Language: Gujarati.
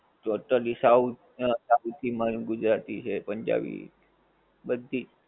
ગુજરાતી છે પંજાબી બધી